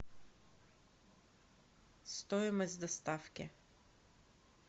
стоимость доставки